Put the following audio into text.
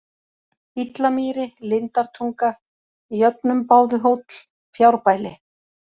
Íllamýri, Lindartunga, Jöfnumbáðuhóll, Fjárbæli